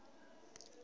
ne a ḓo thoma u